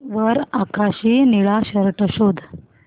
वर आकाशी निळा शर्ट शोध